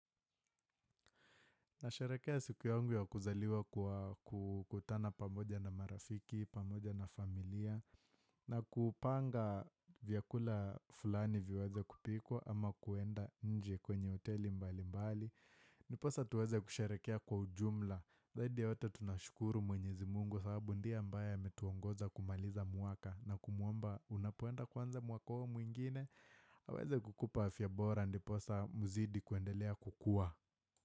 Nasherekea siku yangu ya kuzaliwa kwa kukutana pamoja na marafiki, pamoja na familia, na kupanga vyakula fulani viweze kupikwa ama kuenda nje kwenye hoteli mbali mbali. Ndiposa tuweze kusherehekea kwa ujumla, zaidi ya yote tunashukuru mwenyezi mungu sababu ndiye ambaye ametuongoza kumaliza mwaka na kumuomba unapoenda kuanza mwaka huo mwingine, aweze kukupa afyabora ndiposa uzidi kuendelea kukua.